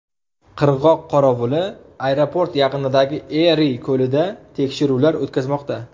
Qirg‘oq qorovuli aeroport yaqinidagi Eri ko‘lida tekshiruvlar o‘tkazmoqda.